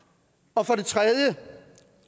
og for det tredje